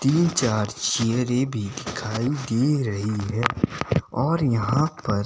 तीन चार चेयरें भी दिखाई दे रही हैं और यहां पर--